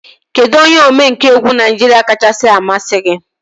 Kedụ onye omenkà egwu Naijiria kachasị amasị gị?